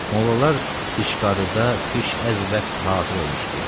Mollalar dişqarıda piş əz vaxt hazır olmuşdular.